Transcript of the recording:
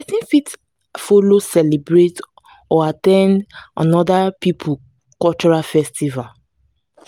person fit follow celebrate or at ten d oda pipo cultural festival